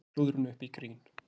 Snúa klúðrinu upp í grín